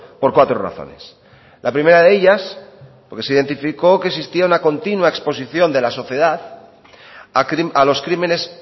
por cuatro razones la primera de ellas porque se identificó que existió una continúa exposición de la sociedad a los crímenes